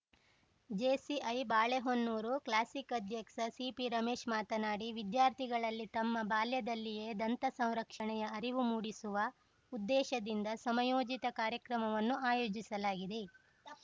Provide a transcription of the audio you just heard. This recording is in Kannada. ಜೇಸಿಐ ಬಾಳೆಹೊನ್ನೂರು ಕ್ಲಾಸಿಕ್‌ ಅಧ್ಯಕ್ಷ ಸಿಪಿ ರಮೇಶ್‌ ಮಾತನಾಡಿ ವಿದ್ಯಾರ್ಥಿಗಳಲ್ಲಿ ತಮ್ಮ ಬಾಲ್ಯದಲ್ಲಿಯೇ ದಂತ ಸಂರಕ್ಷಣೆಯ ಅರಿವು ಮೂಡಿಸುವ ಉದ್ದೇಶದಿಂದ ಸಮಯೋಚಿತ ಕಾರ್ಯಕ್ರಮವನ್ನು ಆಯೋಜಿಸಲಾಗಿದೆ